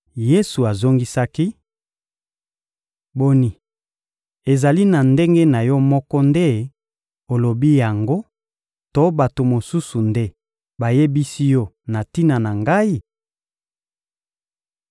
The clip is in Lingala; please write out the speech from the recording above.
Yesu azongisaki: — Boni, ezali na ndenge na yo moko nde olobi yango to bato mosusu nde bayebisi yo na tina na Ngai?